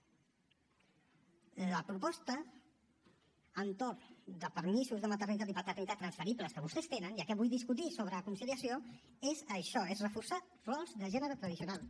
la proposta entorn a permisos de maternitat i paternitat transferibles que vostès tenen ja que vull discutir sobre conciliació és això és reforçar rols de gènere tradicionals